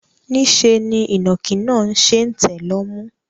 Niṣẹ́ ni ìnàkí ṣe ń tẹ̀ lọ́mú.